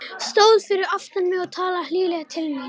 Stóð fyrir aftan mig og talaði hlýlega til mín.